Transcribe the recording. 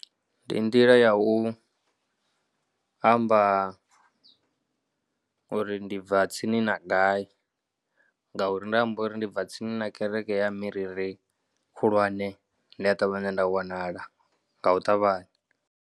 Ndi nḓila ya u amba uri ndi bva tsini na gai ngauri nda amba uri ndi bva tsini na kereke ya Miriri khulwane ndi a ṱavhanya nda wanala nga u ṱavhanya.